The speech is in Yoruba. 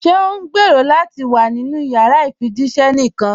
Ṣé o ǹgbẹ́rọ̀ lati wà nínu yàrà ifíjìṣẹ̀ níkan?